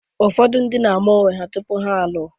Ụfọdụ ndị na-ama onwe ha tupu ha alụọ.